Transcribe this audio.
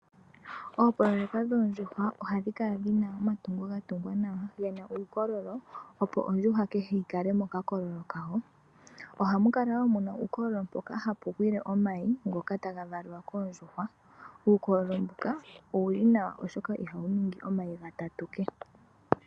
Oopoloyeka dhoondjuhwa ohadhi kala dhina omatungo gatungwa nawa gena uukololo opo ondjuhwa kehe yikale mokakololo kayo. Ohamukala wo muna uukololo mpoka hapu gwile omayi ngoka taga valiwa koondjuhwa. Uukololo mbuka owuli nawa oshoka ohawu ningi omayi gatatu kehe.